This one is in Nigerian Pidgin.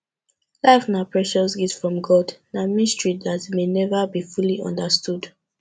life na precious gift from god na mystery dat may never be fully understood